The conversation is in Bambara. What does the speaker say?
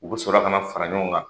U be sɔrɔ ka na fara ɲɔgɔn kan